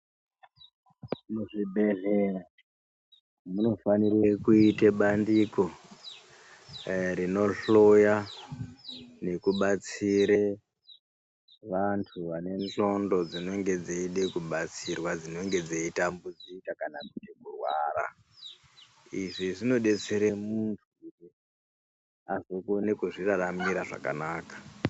Muzvibhedhlera munofanire kuite bandiko rinohloya nekubatsire vantu vane ndxondo dzinenge dzeide kubatsirwa dzinenge dzeitambudzika kana kuti kurwara. Izvi zvinobetsere muntu azokone kuzviraramira zvakanaka.